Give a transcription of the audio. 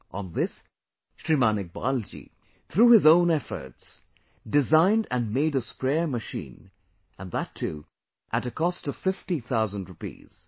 On this, Shriman Iqbal ji, through his own efforts, designed & made a sprayer machine, and that too at a cost of Fifty Thousand Rupees